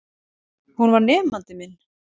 Hún var nemandi minn.